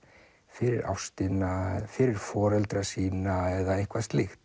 fyrir ástina eða fyrir foreldra sína eða eitthvað slíkt